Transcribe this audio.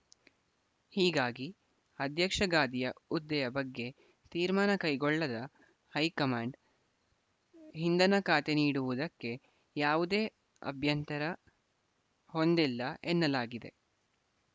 ಹೀಗಾಗಿ ಅಧ್ಯಕ್ಷ ಗಾದಿಯ ಹುದ್ದೆಯ ಬಗ್ಗೆ ತೀರ್ಮಾನ ಕೈಗೊಳ್ಳದ ಹೈಕಮಾಂಡ್‌ ಇಂಧನ ಖಾತೆ ನೀಡುವುದಕ್ಕೆ ಯಾವುದೇ ಅಭ್ಯಂತರ ಹೊಂದಿಲ್ಲ ಎನ್ನಲಾಗಿದೆ